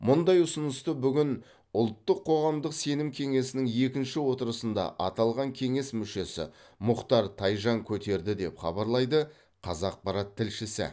мұндай ұсынысты бүгін ұлттық қоғамдық сенім кеңесінің екінші отырысында аталған кеңес мүшесі мұхтар тайжан көтерді деп хабарлайды қазақпарат тілшісі